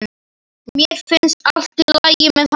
Mér finnst allt í lagi með hann.